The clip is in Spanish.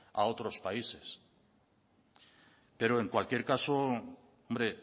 a otros países pero en cualquier caso hombre